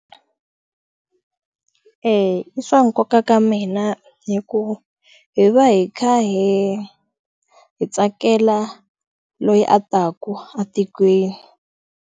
E i swa nkoka ka mina hikuva hi va hi kha hi hi tsakela loyi a taka etikweni.